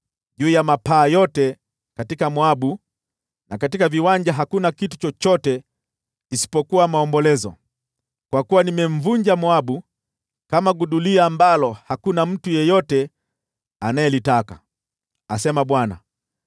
Juu ya mapaa yote katika Moabu na katika viwanja hakuna kitu chochote isipokuwa maombolezo, kwa kuwa nimemvunja Moabu kama gudulia ambalo hakuna mtu yeyote anayelitaka,” asema Bwana .